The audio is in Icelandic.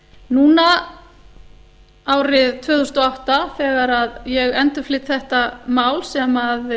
núna árið tvö þúsund og átta þegar ég endurflyt þetta mál sem